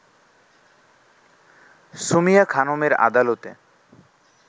সুমিয়া খানমের আদালতে